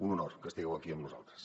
un honor que estigueu aquí amb nosaltres